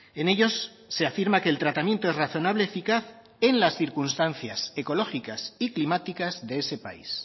en ellos se afirma que el tratamiento es razonable eficaz en las circunstancias ecológicas y climáticas de ese país